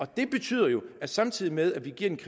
det betyder jo at samtidig med at vi giver de